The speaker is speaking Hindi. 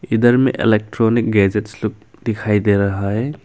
इधर में इलेक्ट्रॉनिक गैजेटस दिखाई दे रहा है।